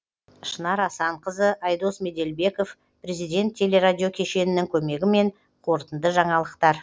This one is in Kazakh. шынар асанқызы айдос меделбеков президент телерадио кешенінің көмегімен қорытынды жаңалықтар